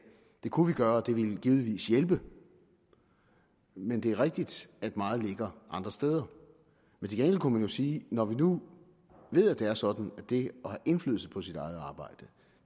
det kunne vi gøre og det ville givetvis hjælpe men det er rigtigt at meget ligger andre steder til gengæld kunne man jo sige at når vi nu ved at det er sådan at det at have indflydelse på sit eget arbejde